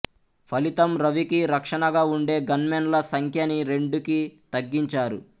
ఫలితంరవికి రక్షణగా వుండే గన్మేన్ ల సంఖ్యని రెండుకి తగ్గించారు